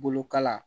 Bolokala